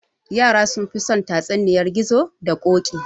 Yara sunfi son tatsuniyar gizo da koɗi